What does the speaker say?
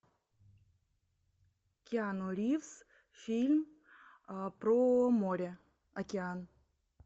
киану ривз фильм про море океан